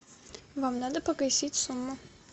вам надо погасить сумму